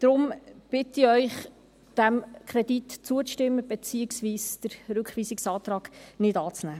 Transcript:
Deshalb bitte ich Sie, diesem Kredit zuzustimmen, beziehungsweise den Rückweisungsantrag nicht anzunehmen.